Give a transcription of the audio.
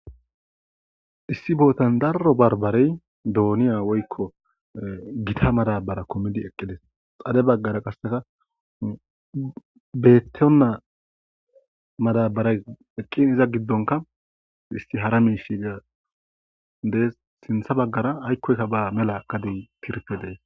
Issi bootan darro barbarey dooniya woykko gita madabara komidi eqqidis xade baggara qasseka bettona madabaray eqqin iza giddonka isti hara mishiga dees sintha baggara aykkoyka ba mela gadi tirpe dees